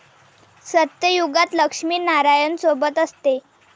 सत्ययुगात लक्ष्मी नारायण सोबत असते